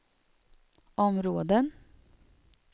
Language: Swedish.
områden